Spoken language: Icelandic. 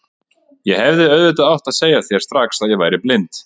Ég hefði auðvitað átt að segja þér strax að ég væri blind.